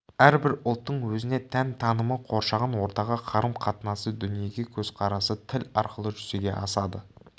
әрбір ұлттың өзіне тән танымы қоршаған ортаға қарым-қатынасы дүниеге көзқарасы тіл арқылы жүзеге асады